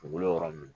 Dugukolo yɔrɔ min